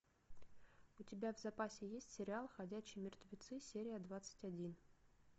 у тебя в запасе есть сериал ходячие мертвецы серия двадцать один